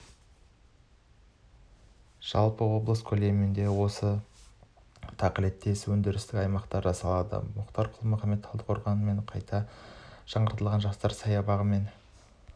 жалпы облыс көлемінде осы тақылеттес өндірістік аймақ жасалады мұхтар құл-мұхаммед талдықорғандағы қайта жаңартылған жастар саябағы мен